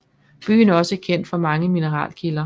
Byen er også kendt for mange mineralkilder